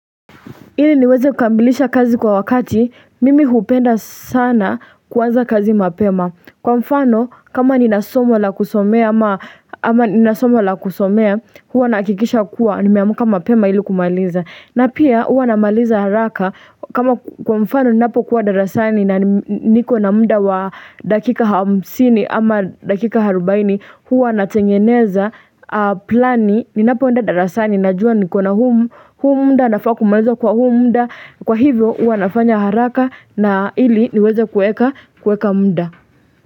Ili niweze kukamilisha kazi kwa wakati mimi hupenda sana kuanza kazi mapema Kwa mfano kama nina somo la kusomea ama ama nina somo la kusomea huwa nahakikisha kuwa nimeamka mapema ili kumaliza na pia huwa namaliza haraka kama kwa mfano ninapokuwa darasani na niko na muda wa dakika hamsini ama dakika arubaini huwa natengeneza Plani Ninapoenda darasani Najua nikona huu muda nafaa kumaliza kwa huu muda kwa hivyo huwa nafanya haraka na ili niweze kueka kueka muda.